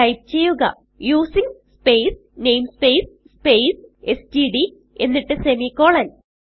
type ചെയ്യുക using space namespace space stdഎന്നിട്ട് semicolon